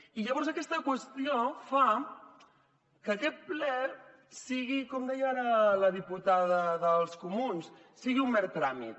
i llavors aquesta qüestió fa que aquest ple sigui com deia ara la diputada dels comuns un mer tràmit